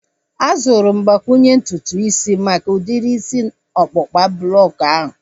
A zụtara m mgbakwunye ntutu isi maka udiri isi ọkpụkpa bọks ahu